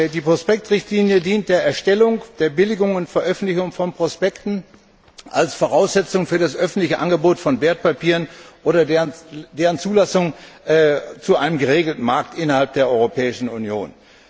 Die Prospektrichtlinie dient der Erstellung, Billigung und Veröffentlichung von Prospekten als Voraussetzung für das öffentliche Angebot von Wertpapieren oder deren Zulassung zu einem geregelten Markt innerhalb der Europäischen Union.